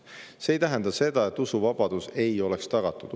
See ei tähenda seda, et usuvabadus ei oleks tagatud.